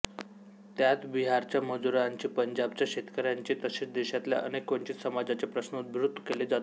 त्यात बिहारच्या मजूरांची पंजाबच्या शेतकऱ्यांची तसेच देशातल्या अनेक वंचित समाजाचे प्रश्न उद्धृत केले जातात